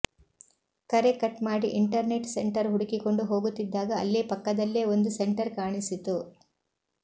ಕರೆ ಕಟ್ ಮಾಡಿ internet centre ಹುಡುಕಿಕೊಂಡು ಹೋಗುತ್ತಿದ್ದಾಗ ಅಲ್ಲೇ ಪಕ್ಕದಲ್ಲೇ ಒಂದು ಸೆಂಟರ್ ಕಾಣಿಸಿತು